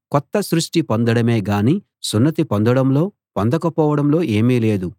కొత్త సృష్టి పొందడమే గాని సున్నతి పొందడంలో పొందకపోవడంలో ఏమీ లేదు